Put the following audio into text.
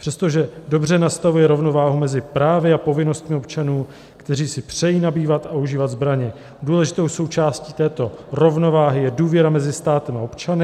Přestože dobře nastavuje rovnováhu mezi právy a povinnostmi občanů, kteří si přejí nabývat a užívat zbraně, důležitou součástí této rovnováhy je důvěra mezi státem a občany.